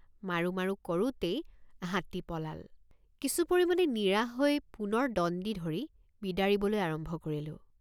মাৰোঁ মাৰোঁ কৰোঁতেই হাতী পলাল। মাৰোঁ মাৰোঁ কৰোঁতেই হাতী পলাল। কিছু পৰিমাণে নিৰাশ হৈ পুনৰ দণ্ডি ধৰি বিদাৰিবলৈ আৰম্ভ কৰিলোঁ।